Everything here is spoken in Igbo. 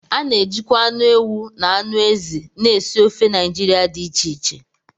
A na-ejikwa anụ ewu na anụ ezi na esi ofe Naijiria dị iche iche